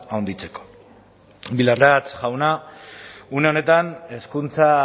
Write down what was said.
handitzeko bildarratz jauna une honetan hezkuntza